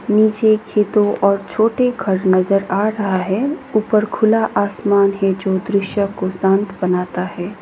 नीचे खेतों और छोटे घर नजर आ रहा है ऊपर खुला आसमान है जो दृश्य को शांत बनाता है।